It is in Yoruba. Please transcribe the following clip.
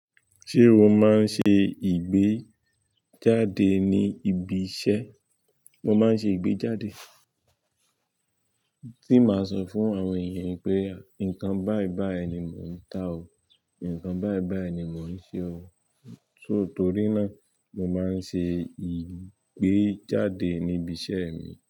Ṣé o máa ń ṣe ìgbéjáde ní ibi iṣẹ́? Mo máa ń ṣe ìgbéjáde. Tí màá sọ fún àwọn ènìyàn pé, nǹkan báyì báyì ni mò ń tà ó, nǹkan báiy báyì ni mò ń ṣe ó. Só torí náà, mo máa ń ṣe ìgbéjáde níbi iṣẹ́ mi.